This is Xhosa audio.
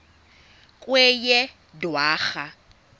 kweyedwarha